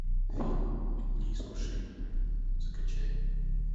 фильм дни искушения закачай